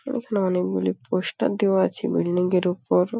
এখানে অনেকগুলি পোস্টার দেওয়া আছে বিল্ডিং এর ওপর।